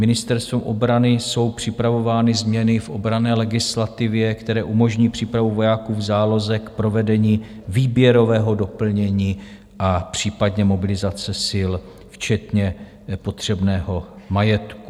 Ministerstvem obrany jsou připravovány změny v obranné legislativě, které umožní přípravu vojáků v záloze k provedení výběrového doplnění a případné mobilizace sil včetně potřebného majetku.